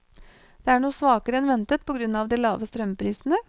Det er noe svakere enn ventet på grunn av de lave strømprisene.